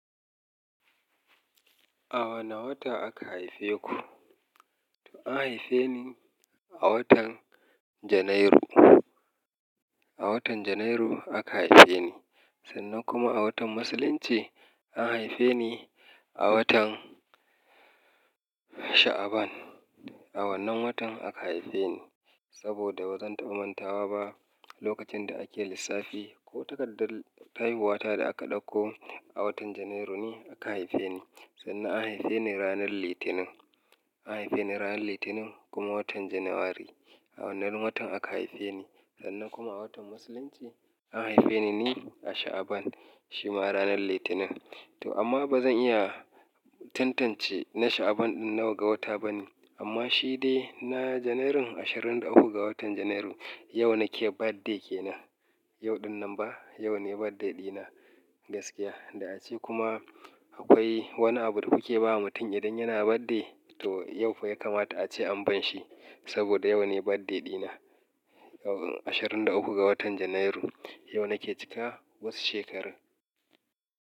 A wane wata aka haife ku? To an haife ni a watan Janairu. A watan Janairu aka haife ni, sannan kuma a watan Musulunci an haife ni a watan Sha'aban. A wannan watan aka haife ni saboda ba zan taɓa mantawa ba lokacin da ake lissafi ko takardar haihuwata da aka ɗauko a watan Janairu ne aka haife ni. Sannan an haife ni ranar Litinin. An haife ni ranar Litinin kuma watan January A wannan watan aka haife ni sannan kuma a watan Musulunci an haife ni ne a Sha'aban shima ranar Litinin. To amma ba zan iya tantance na Sha'aban ɗin nawa ga wata ba ne amma shi ne na Janairun, ashirin da uku ga watan Janairu yau nake birthday kenan. Yau ɗin nan ba, yau ne birthday ɗina gaskiya. Da ace kuma akwai wani abu da kuke ba wa mutum idan yana birthday to yau fa ya kamata ace an ban shi saboda yau ne birthday ɗina. Ashirin da uku ga watan Janairu yau nake cika wasu shekarun.